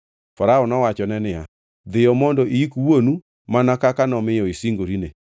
Farao nowachone niya, “Dhiyo mondo iyik wuonu mana kaka nomiyo isingorine.”